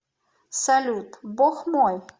салют бог мой